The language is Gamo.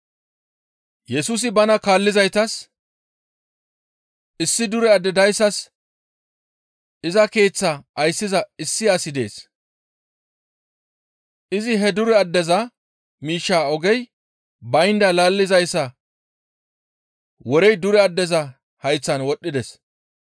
Yesusi bana kaallizaytas, «Issi dure adde dayssas iza keeththaa ayssiza issi asi dees; izi he dure addeza miishshaa ogey baynda laallizayssa worey dure addeza hayththan wodhdhides.